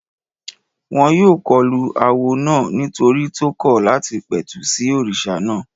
Wọ́n yóò kọlu awo náà nítorí tó kọ̀ láti pẹ̀tù sí òrìṣà náà